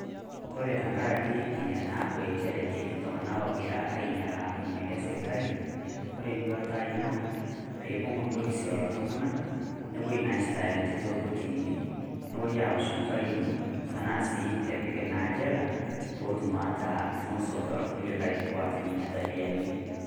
Kore tang'ari enia naaku encheere ketii ltung'ana egiraa ainyalaa malii esirkali, kore duatai naa pee ibuung' polisi lolo ltung'anak nepoo naa aisitaa ninchee te kortinini nepoo aosh faini tana sii epiiki naa jeela pootum aaku [c] funzo to nkulikai oota nenia tabiani.